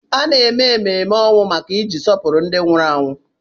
A na-eme emume ọnwụ iji sọpụrụ ndị nwụrụ anwụ.